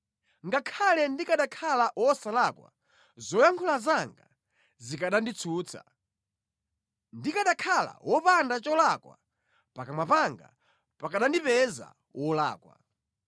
Ngakhale ndikanakhala wosalakwa, zoyankhula zanga zikananditsutsa; ndikanakhala wopanda cholakwa, pakamwa panga pakanandipeza wolakwa.